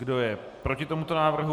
Kdo je proti tomuto návrhu?